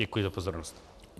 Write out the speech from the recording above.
Děkuji za pozornost.